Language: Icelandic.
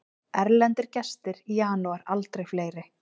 Erlendir gestir í janúar aldrei fleiri